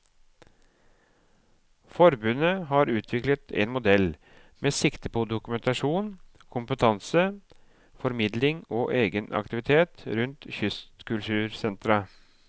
Forbundet har utviklet en modell med sikte på dokumentasjon, kompetanse, formidling og egenaktivitet rundt kystkultursentra.